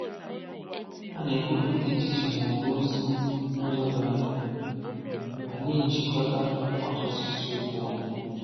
Há na-ekwupụta echiche maọbụ ozi n'ụzọ doro anya, ma na-éjikọta ọtụtụ ịsịokwu ọnụ.